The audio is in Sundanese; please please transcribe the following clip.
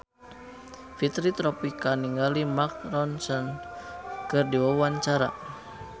Fitri Tropika olohok ningali Mark Ronson keur diwawancara